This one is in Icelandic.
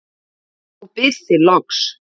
og bið þig loks